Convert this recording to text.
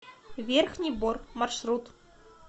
верхний бор маршрут